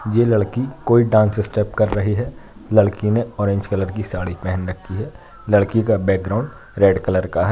ये लड़की कोई डांस स्टेप कर रही है लड़की ने ऑरेंज कलर की साड़ी पहन रखी है। लड़की का बैकग्राउंड रेड कलर का है।